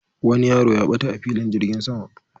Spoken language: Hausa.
Wani yaro ya ɓata a filin jirgin sama